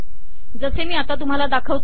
जसे मी आता तुम्हाला दाखविले